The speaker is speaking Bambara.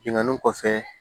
Bingani kɔfɛ